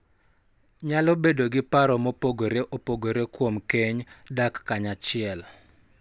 Nyalo bedo gi paro mopogore opogore kuom keny, dak kanyachiel,